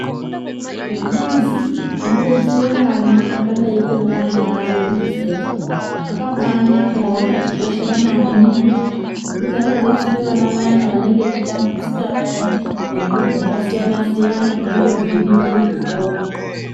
Mabazi anodetsere vana akadaiko ngana unisefi akabanaka ende akatikoshera maningi ngekuti anodetsere vana vayana vanenge veitambudzika vayani ngezviro zvakasiyana -siyana zvinenge zveidiwa kuzvikora.